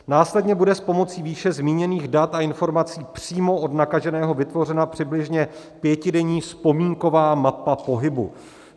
Následně bude s pomocí výše zmíněných dat a informací přímo od nakaženého vytvořena přibližně pětidenní vzpomínková mapa pohybu.